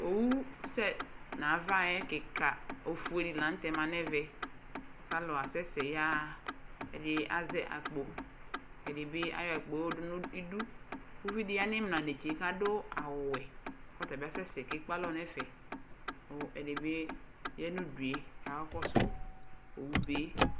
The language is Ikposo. Owu sɛ nava yɛ ofue kikadi la nɛvɛ alu asɛsɛ yaɣa ɛdini azɛ akpo ɛdini ashua akpo nidu uvidi ya nu imla netse ku adu awu wɛ ku tabi asɛsɛ awa nɛfɛ ku ɛdibi ya nu udu kakɔsu owu be